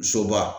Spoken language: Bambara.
Soba